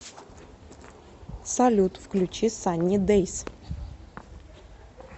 салют включи санни дэйс